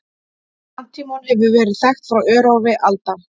Antímon hefur verið þekkt frá örófi alda.